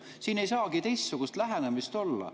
Siin ei saagi ju teistsugust lähenemist olla.